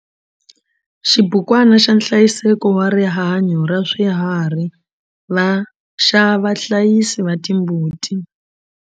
Xibukwana xa nhlayiseko wa rihanyo ra swiharhi xa vahlayisi va timbuti.